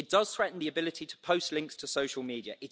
It does threaten the ability to post links to social media.